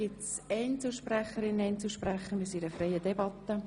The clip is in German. Gibt es Einzelsprecher oder -sprecherinnen?